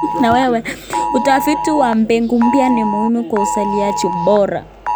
Utafiti wa mbegu mpya ni muhimu kwa uzalishaji bora.